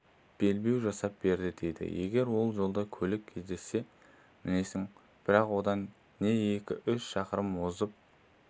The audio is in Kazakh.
белбеу жасап берді дейді егер жолда көлік кездессе мінесің бірақ одан не екі-үш шақырым озып